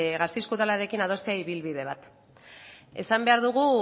gasteizko udalarekin adostea ibilbide bat esan behar dugu